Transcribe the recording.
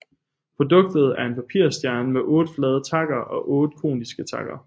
Produktet er en papirstjerne med otte flade takker og otte koniske takker